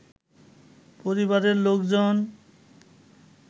পরিবারের লোকজন